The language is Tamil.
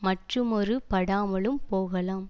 மற்றுமொரு படாமலும் போகலாம்